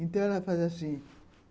Então, ela fazia assim.